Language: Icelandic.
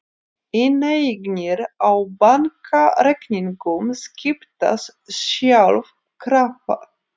Inneignir á bankareikningum skiptast sjálfkrafa